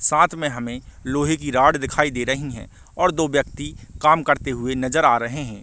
साथ में हमे लोहे की रॉड दिखाई दे रही है और दो व्यक्ति काम करते हुए नज़र आ रहे है।